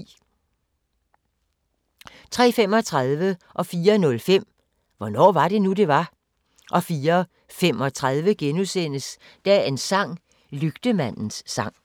03:35: Hvornår var det nu, det var? 04:05: Hvornår var det nu, det var? 04:35: Dagens sang: Lygtemandens sang *